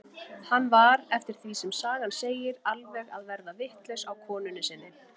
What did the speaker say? Hann var, eftir því sem sagan segir, alveg að verða vitlaus á konunni sinni.